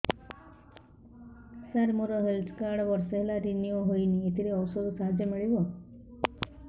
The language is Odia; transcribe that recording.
ସାର ମୋର ହେଲ୍ଥ କାର୍ଡ ବର୍ଷେ ହେଲା ରିନିଓ ହେଇନି ଏଥିରେ ଔଷଧ ସାହାଯ୍ୟ ମିଳିବ